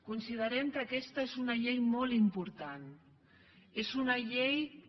considerem que aquesta és una llei molt important és una llei que